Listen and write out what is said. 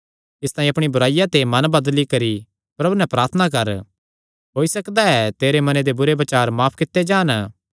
इसतांई अपणी इसा बुराईया ते मन बदली करी प्रभु नैं प्रार्थना कर होई सकदा ऐ तेरे मने दे बुरे बचार माफ कित्ते जान